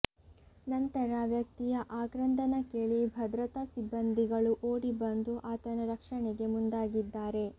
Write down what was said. ನಂತರ ವ್ಯಕ್ತಿಯ ಆಕ್ರಂದನ ಕೇಳಿ ಭದ್ರತಾ ಸಿಬ್ಬಂದಿಗಳು ಓಡಿ ಬಂದು ಆತನ ರಕ್ಷಣೆಗೆ ಮುಂದಾಗಿದ್ದಾರೆ